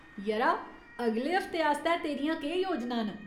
यरा, अगले हफ्ते आस्तै तेरियां केह् योजनां न ?